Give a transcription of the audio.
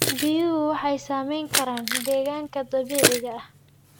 Biyuhu waxay saamayn karaan deegaanka dabiiciga ah.